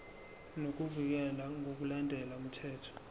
nokuvikelwa ngokulandela umthetho